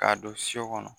K'a don so kɔnɔ